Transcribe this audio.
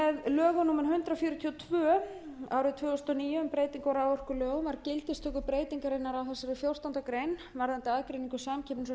með lögum númer hundrað fjörutíu og tvö tvö þúsund og níu um breytingu á raforkulögum var gildistöku breytingarinnar á þessari fjórtándu greinar varðandi aðgreiningu samkeppnis og